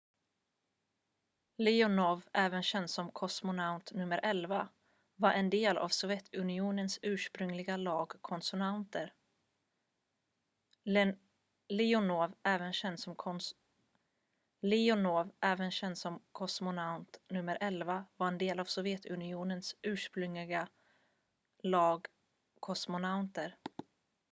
"leonov även känd som "kosmonaut nummer 11" var en del av sovjetunionens ursprungliga lag kosmonauter.